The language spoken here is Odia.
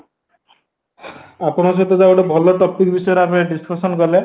ଆପଣଙ୍କ ସହିତ ଯାହାହଉ ଗୋଟେ ଭଲ topic ବିଷୟରେ discussion କଲେ